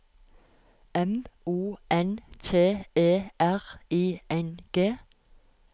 M O N T E R I N G